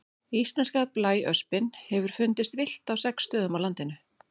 Íslenska blæöspin hefur fundist villt á sex stöðum á landinu.